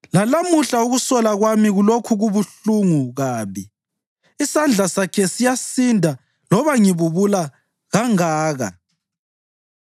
“Lalamuhla ukusola kwami kulokhu kubuhlungu kabi, isandla sakhe siyasinda loba ngibubula kangaka.